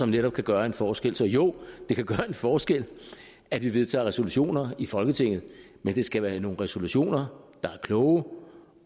netop kan gøre en forskel så jo det kan gøre en forskel at vi vedtager resolutioner i folketinget men det skal være nogle resolutioner der er kloge